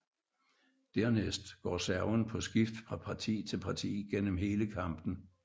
Dernæst går serven på skift fra parti til parti gennem hele kampen